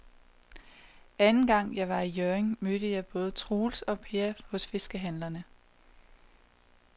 Anden gang jeg var i Hjørring, mødte jeg både Troels og Per hos fiskehandlerne.